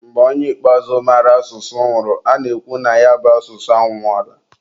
mgbe onye ikpeazụ mara asụsụ nwụrụ, a na-ekwu na ya bụ asụsụ anwụọla.